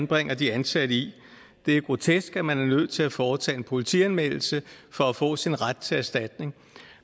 bringer de ansatte i det er grotesk at man er nødt til at foretage en politianmeldelse for at få sin ret til erstatning